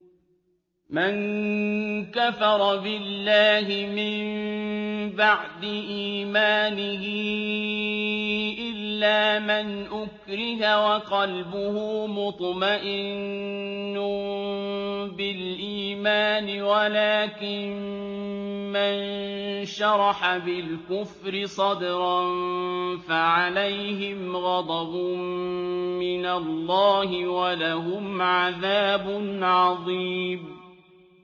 مَن كَفَرَ بِاللَّهِ مِن بَعْدِ إِيمَانِهِ إِلَّا مَنْ أُكْرِهَ وَقَلْبُهُ مُطْمَئِنٌّ بِالْإِيمَانِ وَلَٰكِن مَّن شَرَحَ بِالْكُفْرِ صَدْرًا فَعَلَيْهِمْ غَضَبٌ مِّنَ اللَّهِ وَلَهُمْ عَذَابٌ عَظِيمٌ